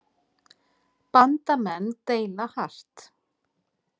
Bandamenn deila hart